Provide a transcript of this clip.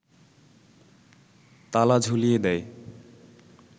তালা ঝুলিয়ে দেয়